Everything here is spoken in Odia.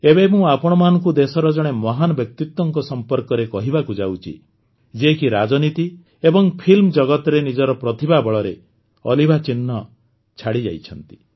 ଏବେ ମୁଁ ଆପଣମାନଙ୍କୁ ଦେଶର ଜଣେ ମହାନ ବ୍ୟକ୍ତିତ୍ୱଙ୍କ ସମ୍ବନ୍ଧରେ କହିବାକୁ ଯାଉଛି ଯିଏକି ରାଜନୀତି ଏବଂ ଫିଲ୍ମଜଗତରେ ନିଜର ପ୍ରତିଭା ବଳରେ ଅଲିଭା ଚିହ୍ନ ଛାଡ଼ିଯାଇଛନ୍ତି